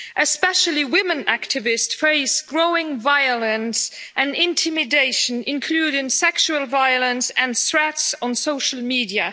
Especially women activists face growing violence and intimidation, including sexual violence and threats on social media.